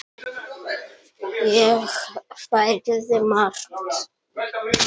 Ég lærði margt.